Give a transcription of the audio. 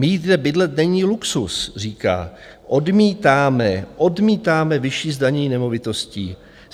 Mít kde bydlet není luxus, říká, odmítáme, odmítáme vyšší zdanění nemovitostí.